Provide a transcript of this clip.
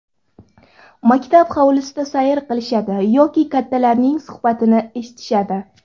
Maktab hovlisida sayr qilishadi yoki kattalarning suhbatini eshitishadi.